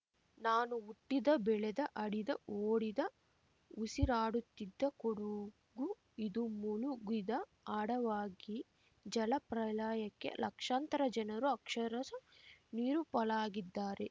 ನಾನು ಹುಟ್ಟಿದ ಬೆಳೆದ ಆಡಿದ ಓಡಿದ ಉಸಿರಾಡುತ್ತಿದ್ದ ಕೊಡುಗು ಇದು ಮುಳುಗಿದ ಆಡವಾಗಿ ಜಲ ಪ್ರಳಯಕ್ಕೆ ಲಕ್ಷಾಂತರ ಜನರು ಅಕ್ಷರಶಃ ನೀರುಪಾಲಾಗಿದ್ದಾರೆ